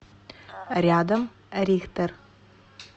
рядом рихтер